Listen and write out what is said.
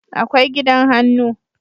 akwai gidan hannu